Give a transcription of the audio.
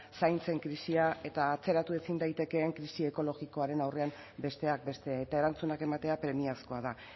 zaintzen krisia eta atzeratu ezin daitekeen krisi ekologikoaren aurrean besteak beste eta erantzunak ematea premiazkoa da